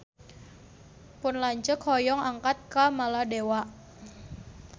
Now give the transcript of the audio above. Pun lanceuk hoyong angkat ka Maladewa